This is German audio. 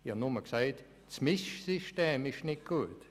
Ich habe nur gesagt, das Mischsystem sei nicht gut.